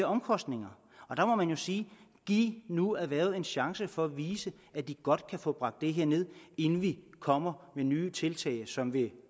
omkostninger der må man sige giv nu erhvervet en chance for at vise at de godt kan få bragt det her ned inden vi kommer med nye tiltag som vil